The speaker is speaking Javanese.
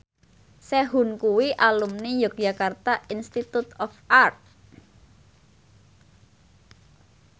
Sehun kuwi alumni Yogyakarta Institute of Art